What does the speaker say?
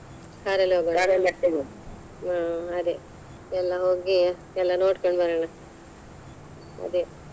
Car ಅಲ್ಲಿ ಹ ಅದೆ ಎಲ್ರೂ ಹೋಗಿ ಎಲ್ಲ ನೋಡ್ಕೊಂಡು ಬರೋನಾ ಅದೆ.